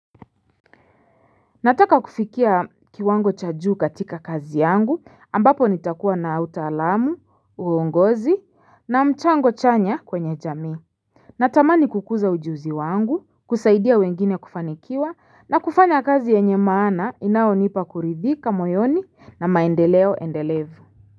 Nataka kufikia kiwango cha juu katika kazi yangu ambapo nitakuwa na utaalamu uongozi na mchango chanya kwenye jamii Natamani kukuza ujuzi wangu kusaidia wengine kufanikiwa na kufanya kazi yenye maana inaonipa kuridhika moyoni na maendeleo endelevu.